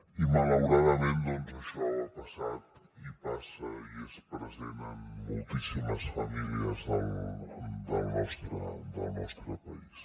i malauradament doncs això ha passat i passa i és present en moltíssimes famílies del nostre país